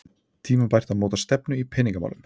Tímabært að móta stefnu í peningamálum